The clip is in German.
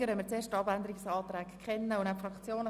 Sie sprechen dann also für die Fraktion.